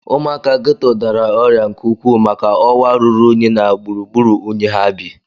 Ụmụaka geto dara ọrịa nke ukwuu maka ọwa ruru unyi na gburugburu unyi ha bi.